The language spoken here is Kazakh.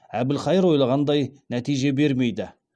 әбілқайыр ойлағандай нәтиже бермейді